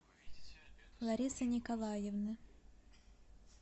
ларисы николаевны